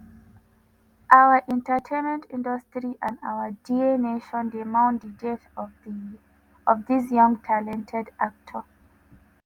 our entertainment industry and our dear nation dey mourn di death of dis young talented actor.”